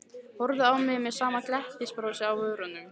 Horfði á mig með sama glettnisbrosið á vörunum.